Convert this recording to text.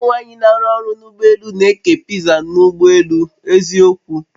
Umụ nwanyị n'arụ ọrụ n'ụgbọ elù n'eke piza n'ụgbọ elù, eziokwu!